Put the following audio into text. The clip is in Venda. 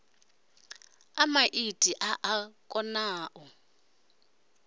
a maiti a a konau